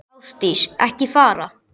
Ásdís, ekki fara.